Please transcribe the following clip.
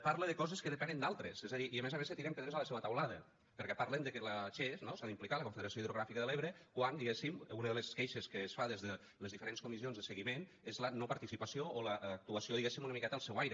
parla de coses que depenen d’altres és a dir i a més a més se tiren pedres a la seua teulada perquè parlen de que la che no s’ha d’implicar la confederació hidrogràfica de l’ebre quan diguéssim una de les queixes que es fa des de les diferents comissions de seguiment és la no participació o l’actuació diguéssim una miqueta al seu aire